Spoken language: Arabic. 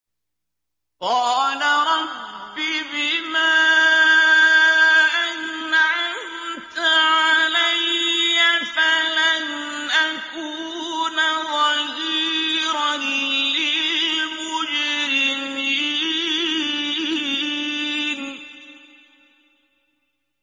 قَالَ رَبِّ بِمَا أَنْعَمْتَ عَلَيَّ فَلَنْ أَكُونَ ظَهِيرًا لِّلْمُجْرِمِينَ